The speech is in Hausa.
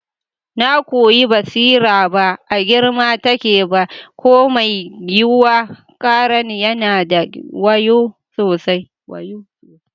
Na kuwi basira ba a girma take ba ko mai yiwuwa, karen yana da wayu sosai.